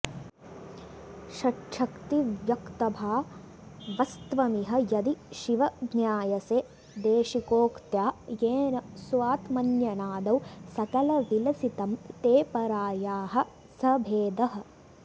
षट्च्छक्तिव्यक्तभावस्त्वमिह यदि शिव ज्ञायसे देशिकोक्त्या येन स्वात्मन्यनादौ सकलविलसितं ते परायाः स भेदः